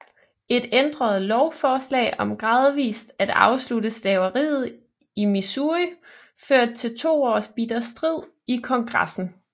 Et ændret lovforslag om gradvist at afslutte slaveriet i Missouri førte til to års bitter strid i Kongressen